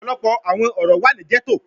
Ọpọlọpọ awọn oro wa ni ghetto